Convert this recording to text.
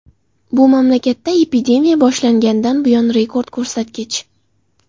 Bu mamlakatda epidemiya boshlanganidan buyon rekord ko‘rsatkich.